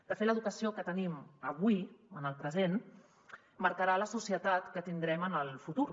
de fet l’educació que tenim avui en el present marcarà la societat que tindrem en el futur